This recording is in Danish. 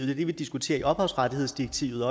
det vi diskuterer i ophavsrettighedsdirektivet